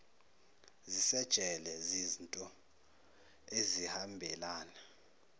zisejele ziznto ezihambelana